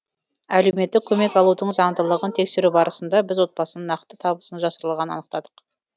әлеуметтік көмек алудың заңдылығын тексеру барысында біз отбасының нақты табысының жасырылғанын анықтадық